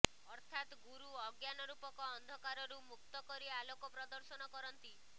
ଅର୍ଥାତ୍ ଗୁରୁ ଅଜ୍ଞାନ ରୂପକ ଅନ୍ଧକାରରୁ ମୁକ୍ତ କରି ଆଲୋକ ପ୍ରଦର୍ଶନ କରନ୍ତି